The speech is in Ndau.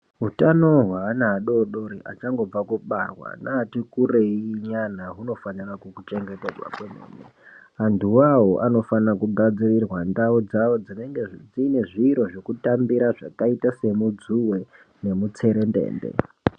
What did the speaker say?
Utano hweana adodori achangobva kubarwa neati kurei nyana hunofanire kuchengetedzwa kwemene antuwo awo anofana kugadzirirwa ndau dzawo dzinenge dzine zviro zvekutambira zvakaita semudzuwe nemutserendende.